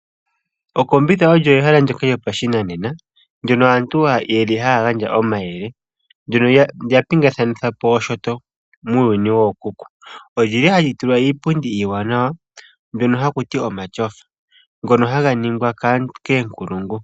Okombitha olyo ehala ndoka lyopashinanena ndono lili hali gandja omayele kaantu, ndono lya pingakanithapo oshinyanga muuyuni wookuku. Olili hahali tulwa iipundi iiwanawa mbyono hakuti omatyofa ngono haga ningwa koonkulungu.